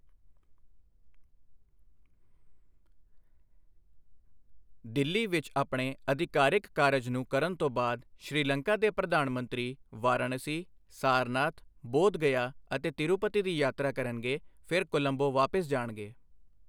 ਦਿੱਲੀ ਵਿੱਚ ਆਪਣੇ ਆਧਿਕਾਰਿਕ ਕਾਰਜ ਨੂੰ ਕਰਨ ਤੋਂ ਬਾਅਦ ਸ਼੍ਰੀਲੰਕਾ ਦੇ ਪ੍ਰਧਾਨ ਮੰਤਰੀ ਵਾਰਾਣਸੀ, ਸਾਰਨਾਥ, ਬੋਧਗਯਾ ਅਤੇ ਤਿਰੂਪਤੀ ਦੀ ਯਾਤਰਾ ਕਰਨਗੇ ਫਿਰ ਕੋਲੰਬੋ ਵਾਪਿਸ ਜਾਣਗੇ।